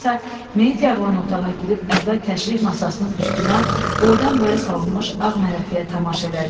Qadınsa meyit yarılan otağa girib əvvəl təşrih masasının üstünə boydan-boya salınmış ağ mələfəyə tamaşa elədi.